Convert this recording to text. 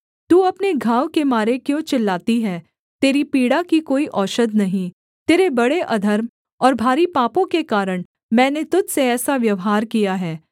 तू अपने घाव के मारे क्यों चिल्लाती है तेरी पीड़ा की कोई औषध नहीं तेरे बड़े अधर्म और भारी पापों के कारण मैंने तुझ से ऐसा व्यवहार किया है